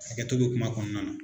Hakɛto bɛ kuma kɔnɔna na.